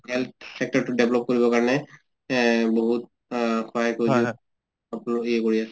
health sector টো develop কৰিবৰ কাৰণে এ বহুত অ সহায় কৰি আছে